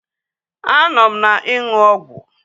Anọ m na-ịṅụ ọgwụ